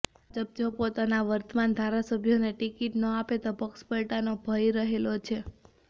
ભાજપ જો પોતાના વર્તમાન ધારાસભ્યોને ટિકિટ ન આપે તો પક્ષપલટાનો ભય રહેલો છે